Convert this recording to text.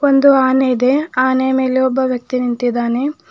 ಒಂದು ಆನೆ ಇದೆ ಆನೆಯ ಮೇಲೆ ಒಬ್ಬ ವ್ಯಕ್ತಿ ನಿಂತಿದ್ದಾನೆ.